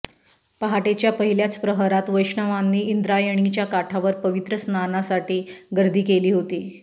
पहाटेच्या पहिल्याच प्रहरात वैष्णवांनी इंद्रायणीच्या काठावर पवित्र स्नानासाठी गर्दी केली होती